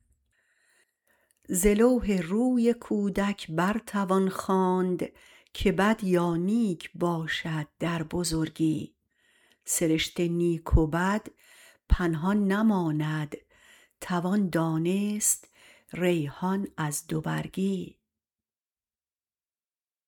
ز لوح روی کودک بر توان خواند که بد یا نیک باشد در بزرگی سرشت نیک و بد پنهان نماند توان دانست ریحان از دو برگی